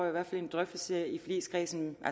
i hvert fald en drøftelse i forligskredsen